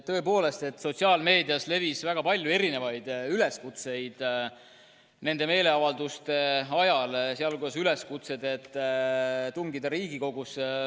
Tõepoolest, sotsiaalmeedias levis väga palju erinevaid üleskutseid nende meeleavalduste ajal, sh üleskutsed tungida Riigikogusse.